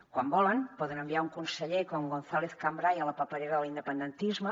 quan volen poden enviar un conseller com gonzález cambray a la paperera de l’independentisme